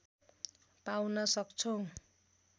पाउन सक्छौं